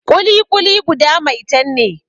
Ƙuli-ƙuli guda maitan ne